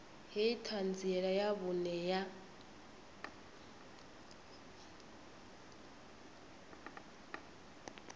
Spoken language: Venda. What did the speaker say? hei ṱhanziela ya vhuṅe ya